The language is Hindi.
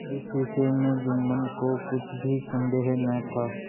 इस विषय में जुम्मन को कुछ भी संदेह न था